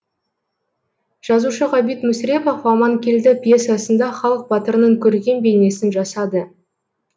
жазушы ғабит мүсірепов аманкелді пьесасында халық батырының көркем бейнесін жасады